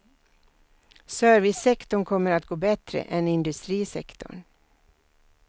Servicesektorn kommer att gå bättre än industrisektorn.